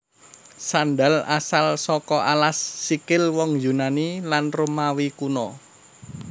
Sandal asal saka alas sikil wong Yunani lan Romawi Kuna